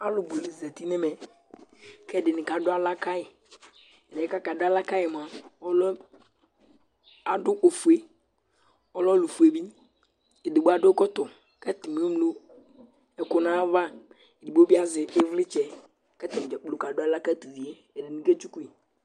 Alʋ bʋ la zati nʋ ɛmɛ kʋ ɛdɩnɩ kadʋ aɣla ka yɩ Ɛdɩ kʋ akadʋ aɣla ka yɩ yɛ mʋa, ɔlʋ yɛ adʋ ofue Ɔlɛ ɔlʋfue bɩ Edigbo adʋ ɛkɔtɔ kʋ atanɩ eŋlo ɛkʋ nʋ ayava Edigbo bɩ azɛ ɩvlɩtsɛ kʋ atanɩ dza kplo kadʋ aɣla ka tʋ uvi yɛ, ɛdɩnɩ ketsuku yɩ